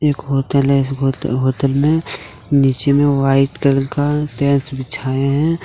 Hotel है इस hotel में नीचे में व्हाइट कलर का टाइल्स बिछाए है।